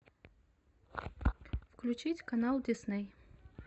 включить канал дисней